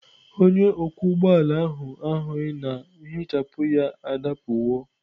Onye ọkwọ ụgbọ ala ahụ ahụghị na nhichapụ ya adapụwo.